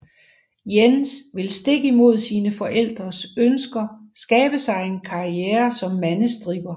Jens vil stik imod sine forældres ønsker skabe sig en karriere som mandestripper